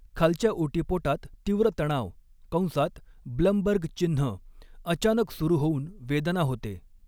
खालच्या ओटीपोटात तीव्र तणाव कंसात ब्लमबर्ग चिन्ह अचानक सुरू होऊन वेदना होते.